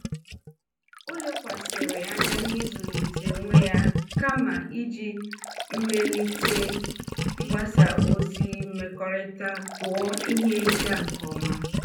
Ọ lekwasịrị anya n'ịzụlite onwe ya kama iji mmelite mgbasa ozi mmekọrịta tụọ ihe ịga nke ọma.